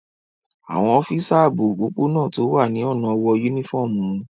Àwọn ọ́físà ààbò òpópó-ọ̀nà tó wà ní ọ̀nà wọ yúnífọ́ọ̀mù wọn